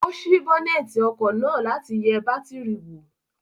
Ó sí bọ́nẹ̀tì ọkọ̀ náà láti yẹ bátìrì wò.